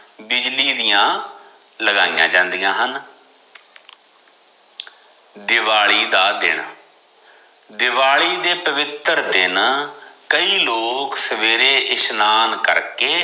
ਬਿਜਲੀ ਦੀਆ ਲਗਾਇਆ ਜਾਂਦਿਆ ਹਨ ਦਿਵਾਲੀ ਦਾ ਦਿਨ, ਦਿਵਾਲੀ ਦੇ ਪਵਿੱਤਰ ਦਿਨ ਕਈ ਲੋਕ ਸਵੇਰੇ ਇਸ਼ਨਾਨ ਕਰਕੇ